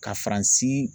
Ka faransi